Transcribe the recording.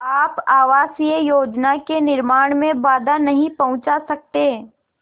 आप आवासीय योजना के निर्माण में बाधा नहीं पहुँचा सकते